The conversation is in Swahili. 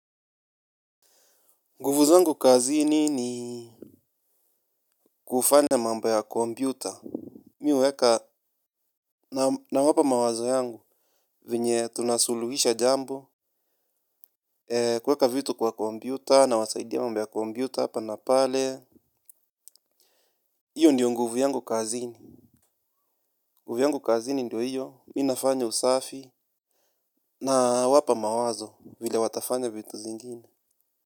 Nguvu zangu kazini ni kufanya mambo ya kompyuta. Mi huweka nawapa mawazo yangu. Venye tunasuluhisha jambo. Kuweka vitu kwa kompyuta nawasaidia mambo ya kompyuta hapa na pale. Iyo ndiyo nguvu yangu kazini. Nguvu yangu kazini ndiyo hiyo mi nafanya usafi. Nawapa mawazo vile watafanya vitu zingine.